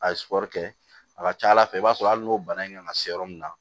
A ye kɔrikɛ a ka ca ala fɛ i b'a sɔrɔ hali n'o bana in kan ka se yɔrɔ min na